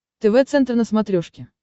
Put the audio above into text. тв центр на смотрешке